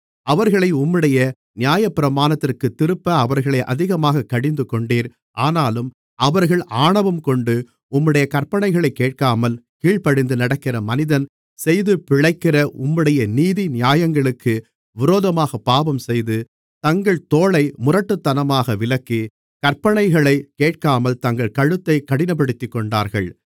அவர்களை உம்முடைய நியாயப்பிரமாணத்திற்குத் திருப்ப அவர்களைத் அதிகமாகக் கடிந்துகொண்டீர் ஆனாலும் அவர்கள் ஆணவம்கொண்டு உம்முடைய கற்பனைகளைக் கேட்காமல் கீழ்ப்படிந்து நடக்கிற மனிதன் செய்து பிழைக்கிற உம்முடைய நீதி நியாயங்களுக்கு விரோதமாகப் பாவஞ்செய்து தங்கள் தோளை முரட்டுத்தனமாக விலக்கி கற்பனைகளைக் கேட்காமல் தங்கள் கழுத்தைக் கடினப்படுத்திக்கொண்டார்கள்